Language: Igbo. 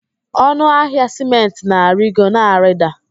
Ọnụ ahịa sịmentị na-arigo, na-arida